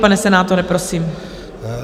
Pane senátore, prosím.